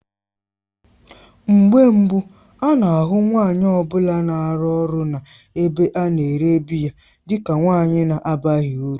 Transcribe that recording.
Mgbe mbụ a na-ahụ nwanyị ọ bụla na-arụ ọrụ n'ebe a na-ere biya dị ka nwanyị na-abaghị uru.